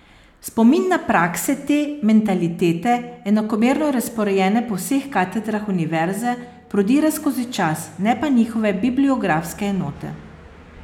Spomin na prakse te mentalitete, enakomerno razporejene po vseh katedrah univerze, prodira skozi čas, ne pa njihove bibliografske enote.